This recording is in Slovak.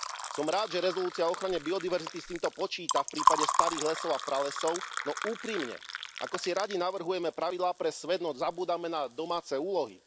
Som rád, že rezolúcia o ochrane biodiverzity s týmto počíta v prípade starých lesov a pralesov, no úprimne, akosi radi navrhujeme pravidlá pre svet, no zabúdame na domáce úlohy.